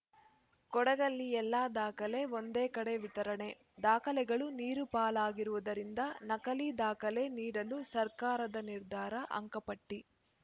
ಕೊಡಗಲ್ಲಿ ಎಲ್ಲಾ ದಾಖಲೆ ಒಂದೇ ಕಡೆ ವಿತರಣೆ ದಾಖಲೆಗಳು ನೀರುಪಾಲಾಗಿರುವುದರಿಂದ ನಕಲಿ ದಾಖಲೆ ನೀಡಲು ಸರ್ಕಾರದ ನಿರ್ಧಾರ ಅಂಕಪಟ್ಟಿ